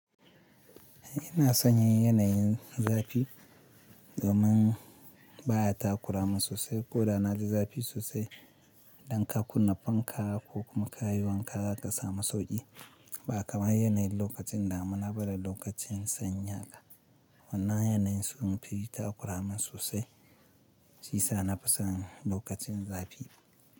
Ina son yin yanayin zafi domin ba ya takuramin sosai ko da na yi zafi sosai. Dan ka kunna fanka ko kuma ka yi wanka, ka samu sauƙi. Ba kamar yanayin lokacin dami na ba da lokacin sanyi haka. Wannan yanayin sun fi yi takuramin sosai, shi sa na fi son lokacin zafi.